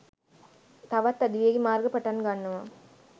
තවත් අධිවේගී මාර්ග පටන් ගන්නවා.